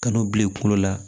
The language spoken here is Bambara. Ka n'o bila i kunkolo la